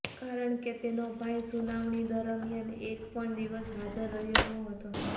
કારણ કે તેનો ભાઈ સુનાવણી દરમિયાન એક પણ દિવસ હાજર રહ્યો નહોતો